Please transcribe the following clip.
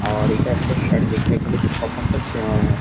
আর একটা স্যার যেখান এটা ছ সাতটা ।